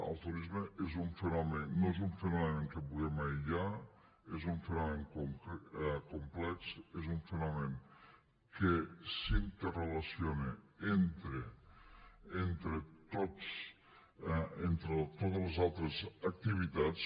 el turisme no és un fenomen que puguem aïllar és un fenomen complex és un fenomen que s’interrelaciona entre totes les altres activitats